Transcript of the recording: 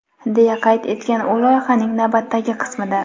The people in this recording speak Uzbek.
deya qayd etgan u loyihaning navbatdagi qismida.